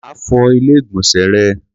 Máa fọ Ilé-ìgbọ̀nsẹ̀ rẹ.